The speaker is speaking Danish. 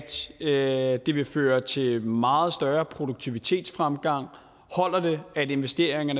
det at det vil føre til meget større produktivitetsfremgang holder det at investeringer